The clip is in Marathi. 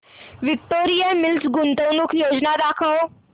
विक्टोरिया मिल्स गुंतवणूक योजना दाखव